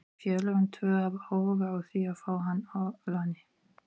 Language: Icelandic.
Félögin tvö hafa áhuga á því að fá hann á láni.